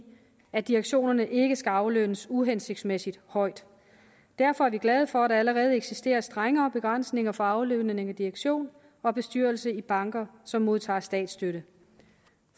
at direktionerne ikke skal aflønnes uhensigtsmæssigt højt derfor er vi glade for at der allerede eksisterer strenge begrænsninger for aflønning af direktion og bestyrelse i banker som modtager statsstøtte